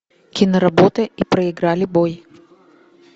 киноработа и проиграли бой